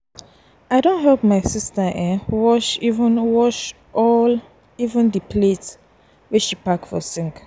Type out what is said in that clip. i don help my sista um wash um wash all um di plates wey she pack for sink.